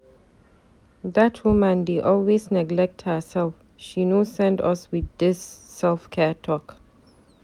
Dat woman dey always neglect herself, she no send us wit dis self-care talk.